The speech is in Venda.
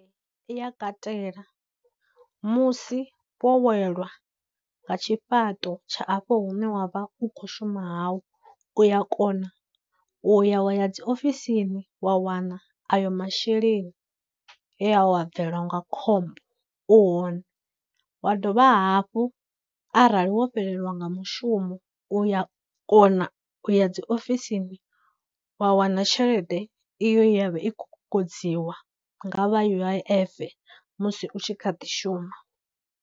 I ya katela musi wo welwa nga tshifhaṱo tsha afho hune wa vha u khou shuma hau, uya kona u ya wa ya dziofisini wa wana ayo masheleni he wa bvelwa nga khombo u hone, wa dovha hafhu arali wo fhelelwa nga mushumo u ya kona u ya dziofisini wa wana tshelede iyo ye ya vha i khou kokodziwa nga vha U_I_F musi u tshi kha ḓi shuma.